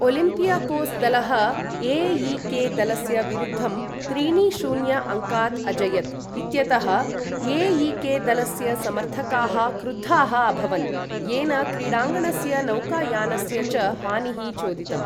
Olympiacos दलः ए.ई.के.दलस्य विरुद्धं त्रीणि शून्य अङ्कात् अजयत् इत्यतः ए.ई.के.दलस्य समर्थकाः क्रुद्धाः अभवन्, येन क्रीडाङ्गणस्य नौकायानस्य च हानिः चोदितम्।